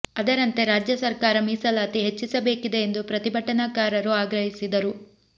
ಅದರಂತೆ ರಾಜ್ಯ ಸರ್ಕಾರ ಮೀಸಲಾತಿ ಹೆಚ್ಚಿಸಬೇಕಿದೆ ಎಂದು ಪ್ರತಿಭಟನಾ ಕಾರರು ಆಗ್ರಹಿಸಿದರು